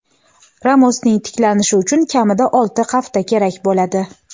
Ramosning tiklanishi uchun kamida olti hafta kerak bo‘ladi.